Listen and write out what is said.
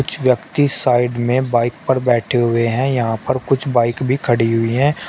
कुछ व्यक्ति साइड में बाइक पर बैठे हुए हैं यहां पर कुछ बाइक भी खड़ी हुई है।